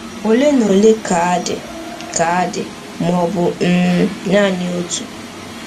Ole na ole ka dị, ka dị, ma ọ bụ um naanị otu.